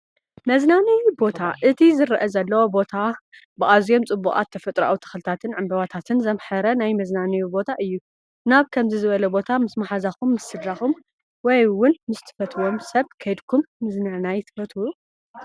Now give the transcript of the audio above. መዝናነዬ ቦታ፡- እቲ ዝረአ ዘሎ ቦታ ብኣዝዮም ፅቡቓት ተፈጥሮኣዊ ተኽልታትን ዕምበባታትን ዘምሐረ ናይ መዝናነዬ ቦታ እዩ፡፡ ናብ ከምዚ ዝበለ ቦታ ምስ ማሓዛኹም፣ ምስ ስድራኹም፣ ወይ ውን ምስ እትፈትውዎ ሰብ ከይድኩም ምዝንናይ ትፈትው?